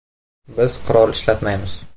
Biz qurol ishlatmaymiz.